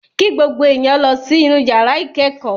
Kí gbogbo èèyàn lọ sí inú yàrá ìkẹ́kọ̀ọ́!